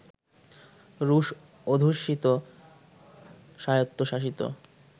রুশ-অধুষ্যিত স্বায়ত্বশাসিত